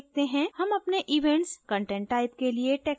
हम अपने events content type के लिए taxonomy set करेंगे